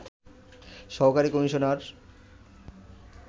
সহকারী কমিশনার